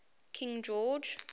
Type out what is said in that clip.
king george